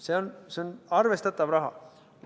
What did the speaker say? See on arvestatav raha.